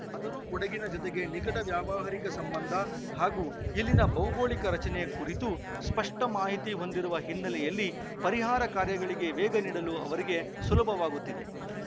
ಆದರೂ ಕೊಡಗಿನ ಜತೆಗೆ ನಿಕಟ ವ್ಯಾವಹಾರಿಕ ಸಂಬಂಧ ಹಾಗೂ ಇಲ್ಲಿನ ಭೌಗೋಳಿಕ ರಚನೆ ಕುರಿತು ಸ್ಪಷ್ಟಮಾಹಿತಿ ಹೊಂದಿರುವ ಹಿನ್ನೆಲೆಯಲ್ಲಿ ಪರಿಹಾರ ಕಾರ್ಯಗಳಿಗೆ ವೇಗ ನೀಡಲು ಅವರಿಗೆ ಸುಲಭವಾಗುತ್ತಿದೆ